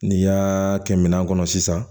N'i y'aa kɛ minɛn kɔnɔ sisan